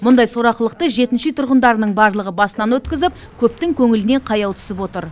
мұндай сорақылықты жетінші үй тұрғындарының барлығы басынан өткізіп көптің көңіліне қаяу түсіп отыр